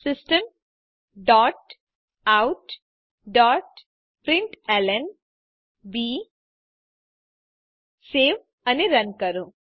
system dot out dot println save અને run કરો